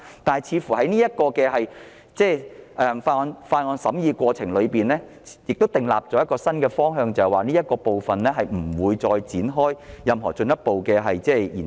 在這項附屬法例的審議過程中，亦訂立了一個新方向，就是不會再就這方案展開進一步研究。